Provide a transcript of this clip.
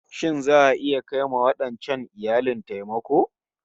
Shin za'a iya kai wa wadancan iyalin taimako?